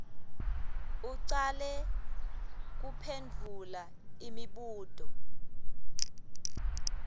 ucale kuphendvula imibuto